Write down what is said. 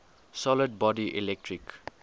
solid body electric